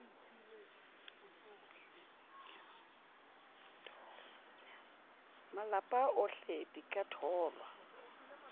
malapa ohle di ka tholwa